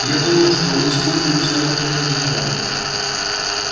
я думал что вы используете атомные генераторы